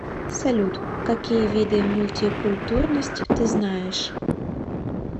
салют какие виды мультикультурность ты знаешь